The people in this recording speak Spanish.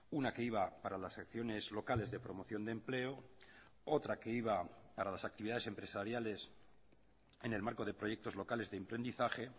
una que iba para las acciones locales de promoción de empleo otra que iba para las actividades empresariales en el marco de proyectos locales de emprendizaje